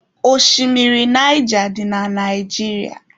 Oshimiri Naija dị na Naijiria.